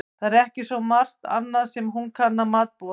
Það er ekki svo margt annað sem hún kann að matbúa.